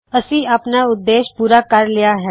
ਅਸੀ ਆਪਣਾ ਉਦੇਸ਼ ਪੂਰਾ ਕਰ ਲਇਆ ਹੈ